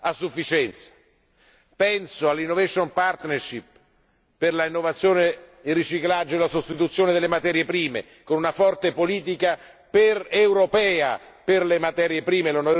a sufficienza, penso alla Innovation partnership per l'innovazione, il riciclaggio e la sostituzione delle materie prime, con una forte politica europea per le materie prime.